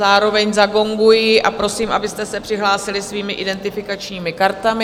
Zároveň zagonguji a prosím, abyste se přihlásili svými identifikačními kartami.